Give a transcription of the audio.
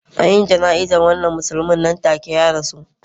An yi jana'izar wannan musulmi nan take ya rasu